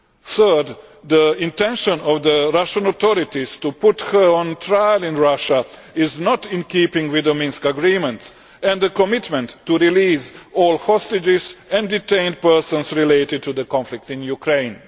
Thirdly, the intention of the Russian authorities to put her on trial in Russia is not in keeping with the Minsk Agreements and the commitment to release all hostages and detained persons related to the conflict in Ukraine.